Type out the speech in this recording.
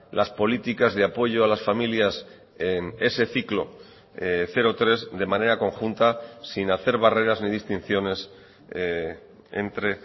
las políticas de apoyo a las familias en ese ciclo cero tres de manera conjunta sin hacer barreras ni distinciones entre